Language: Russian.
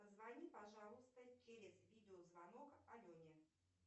позвони пожалуйста через видеозвонок алене